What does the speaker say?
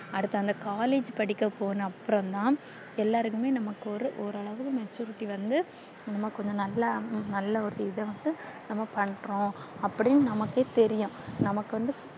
அடுத்து அந்த collage படிக்க போனது அப்புறம் தான் எல்லாருக்குமே நமக்கு ஒரு ஒரு அளவு maturity வந்து நமக்கு கொஞ்சோ நல்லா நல்லா ஒரு இது வந்து பண்றோம் அப்டின்னு நமக்கே தெரியும் நமக்கு வந்து